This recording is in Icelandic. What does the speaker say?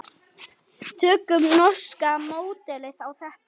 Tökum norska módelið á þetta.